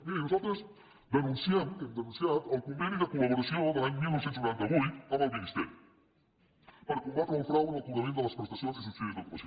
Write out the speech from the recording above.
miri nosaltres denunciem hem denunciat el conveni de col·laboració de l’any dinou noranta vuit amb el ministeri per combatre el frau en el cobrament de les prestacions i subsidis d’ocupació